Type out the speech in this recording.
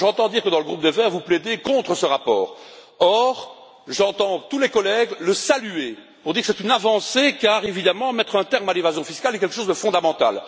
J'entends dire que, dans le groupe des Verts, vous plaidez contre ce rapport or, j'entends tous les collègues le saluer, dire que c'est une avancée, car, évidemment, mettre un terme à l'évasion fiscale est quelque chose de fondamental.